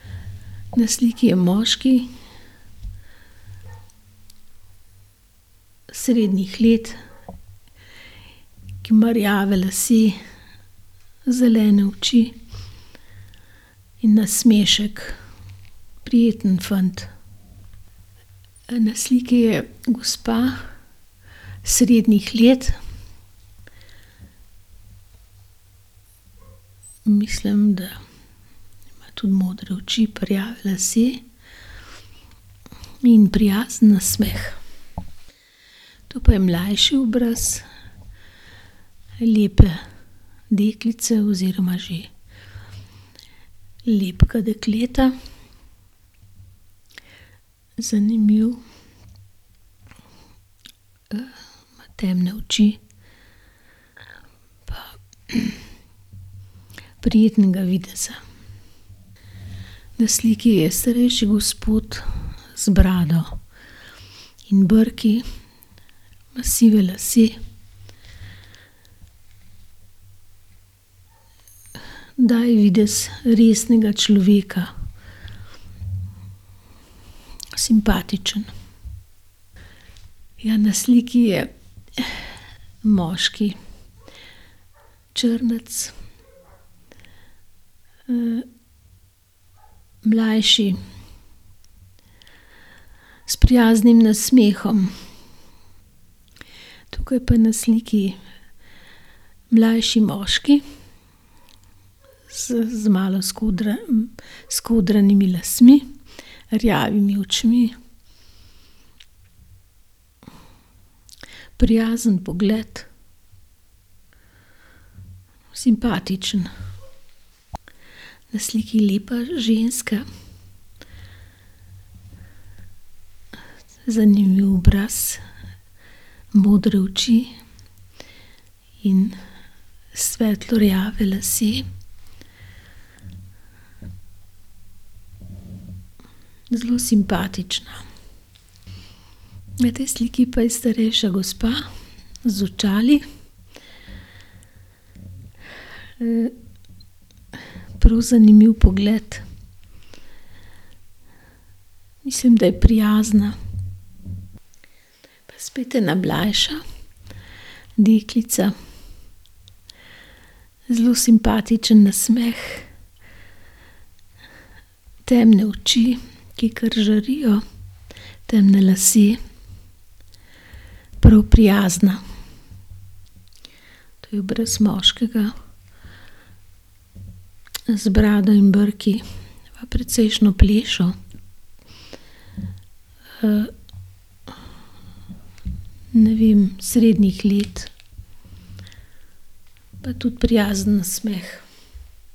Na sliki je moški srednjih let, ki ima rjave lase, zelene oči in nasmešek. Prijeten fant. Na sliki je gospa srednjih let. Mislim, da ima tudi modre oči pa rjave lase in prijazen nasmeh. To pa je mlajši obraz lepe deklice oziroma že lepega dekleta. Zanimivo, ima temne oči pa prijetnega videza. Na sliki je starejši gospod z brado in brki. Ima sive lase, daje videz resnega človeka. Simpatičen. Ja, na sliki je moški, črnec. mlajši s prijaznim nasmehom. Tukaj pa na sliki mlajši moški s z malo skodranimi lasmi, rjavimi očmi, prijazen pogled, simpatičen. Na sliki je lepa ženska, zanimiv obraz, modre oči in svetlo rjavi lasje. Zelo simpatična. Na tej sliki pa je starejša gospa z očali. prav zanimiv pogled. Mislim, da je prijazna. Pa spet ena mlajša deklica. Zelo simpatičen nasmeh, temne oči, ki kar žarijo, temni lasje. Prav prijazna. To je obraz moškega z brado in brki, pa precejšnjo plešo. ne vem, srednjih let. Pa tudi prijazen nasmeh.